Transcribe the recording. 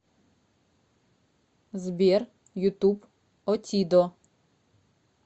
сбер ютуб отидо